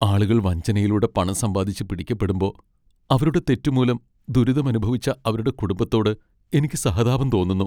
ആളുകൾ വഞ്ചനയിലൂടെ പണം സമ്പാദിച്ച് പിടിക്കപ്പെടുമ്പോ, അവരുടെ തെറ്റു മൂലം ദുരിതമനുഭവിച്ച അവരുടെ കുടുംബത്തോട് എനിക്ക് സഹതാപം തോന്നുന്നു.